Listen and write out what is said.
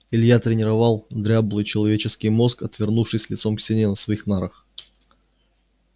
илья тренировал дряблый человеческий мозг отвернувшись лицом к стене на своих нарах